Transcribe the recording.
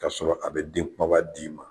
Kasɔrɔ a bɛ den kunbaba d'i ma